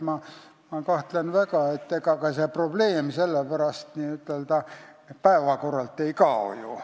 Aga ma kahtlen selles väga, sest ega see probleem ju päevakorralt ei kao.